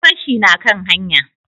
Yan fashi na kan hanya?